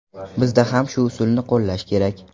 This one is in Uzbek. Bizda ham shu usulni qo‘llash kerak.